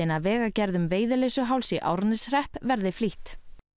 að vegagerð um Veiðileysuháls í Árneshrepp verði flýtt